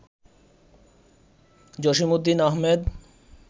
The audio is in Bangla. জসিমউদ্দিন আহমেদ